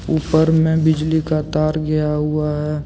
ऊपर में बिजली का तार गया हुआ है।